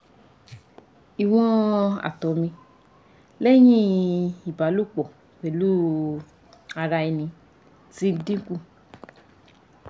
iwon ato mi lehin iba lopo pelu ara eni ti dinku